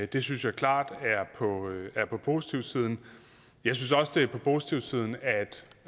det synes jeg klart er på positivsiden jeg synes også det er på positivsiden